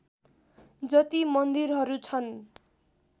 जति मन्दिरहरू छन्